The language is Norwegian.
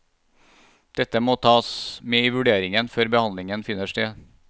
Dette må tas med i vurderingen før behandling finner sted.